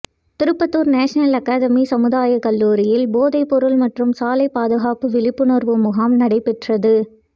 Tirupattur national academy சமுதாயக் கல்லூரியில் போதைப் பொருள் மற்றும் சாலைப் பாதுகாப்பு விழிப்புணா்வு முகாம் நடைபெற்றது